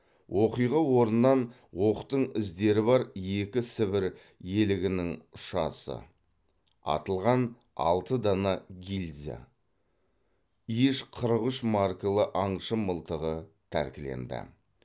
оқиға орнынан оқтың іздері бар екі сібір елігінің ұшасы атылған алты дана гильза иж қырық үш маркалы аңшы мылтығы тәркіленді